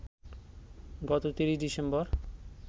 গত ৩০ ডিসেম্বর